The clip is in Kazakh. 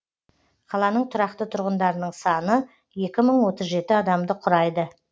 қаланың тұрақты тұрғындарының саны екі мың отыз жеті адамды құрайды